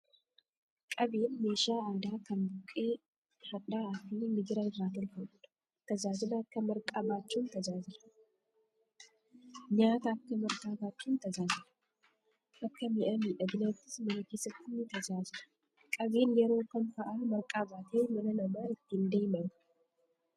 Qabeen meeshaa aadaa kan buqqee hadhaa'aa fi migira irraa tolfamudha. Nyaata akka marqaa baachuun tajaajila. Akka mi'a miidhaginaattis mana keessatti ni tajaajila. Qabeen yeroo kam fa'a marqaa baatee mana namaa ittiin deemama?